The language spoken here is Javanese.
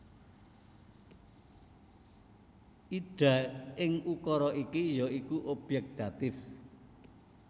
Ida ing ukara iki ya iku obyèk datif